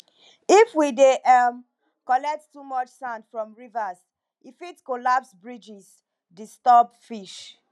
if we dey um collect too much sand from rivers e fit collapse bridges disturb fish